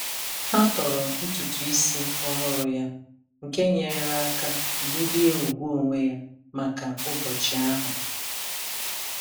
Ha toro ntutu isi ọhụrụ ya, nke nyeere aka bulie ùgwù onwe ya maka ụbọchị ahụ.